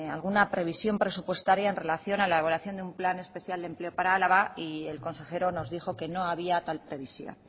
alguna previsión presupuestaria en relación a la elaboración de un plan especial de empleo para álava y el consejero nos dijo que no había tal previsión